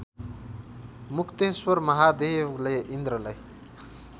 मुक्तेश्वर महादेवले इन्द्रलाई